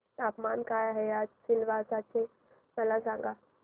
तापमान काय आहे आज सिलवासा चे मला सांगा